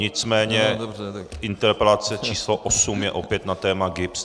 Nicméně interpelace číslo osm je opět na téma GIBS.